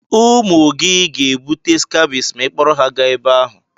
Ụmụ gị ga-ebute skabis ma ị kpọrọ ha gaa ebe ahụ.